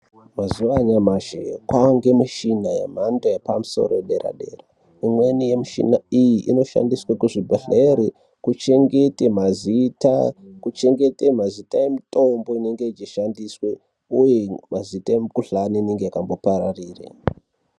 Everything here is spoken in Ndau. Mazuwa anyamashi kwaa ngemushina yemhando yepamusoro yederadera. Imweni yemushina iyi inoshandiswe kuzvibhedhlere kuchengete mazita, kuchengete mazita emitombo inenge ichishandiswa uye mazita emukhuhlani inenge yakangopararira.